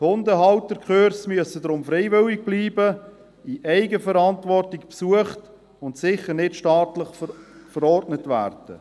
Die Hundehalterkurse müssen deshalb freiwillig bleiben, in Eigenverantwortung besucht und sicher nicht staatlich verordnet werden.